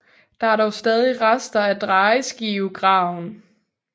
Der er dog stadig rester af drejeskivegraven